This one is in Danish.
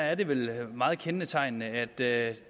at det vel er meget kendetegnende at det